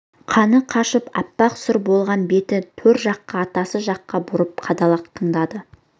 қаны қашып аппақ сұр болған бетін төр жаққа атасы жаққа бұрып қадала тыңдады